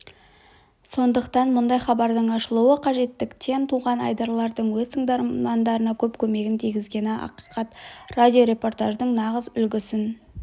сондықтан мұндай хабардың ашылуы қажеттіктен туған айдарлардың өз тыңдармандарына көп көмегін тигізгені ақиқат радиорепортаждың нағыз үлгісін